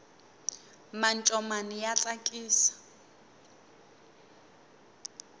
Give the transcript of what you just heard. mancomani ya tsakisa